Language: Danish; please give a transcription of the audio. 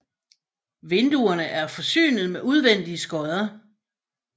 Vinduerne er forsynet med udvendige skodder